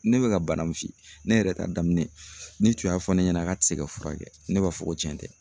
Ne bɛ ka bana min f'i ye, ne yɛrɛ ta daminɛ ne tun y'a fɔ ne ɲɛna k'a tɛ se ka furakɛ ne b'a fɔ ko tiɲɛ tɛ.